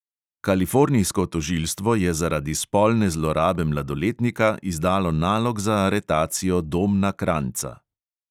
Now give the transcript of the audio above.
Kalifornijsko tožilstvo je zaradi spolne zlorabe mladoletnika izdalo nalog za aretacijo domna kranjca.